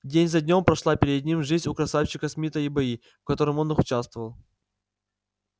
день за днём прошла перед ним жизнь у красавчика смита и бои в которых он участвовал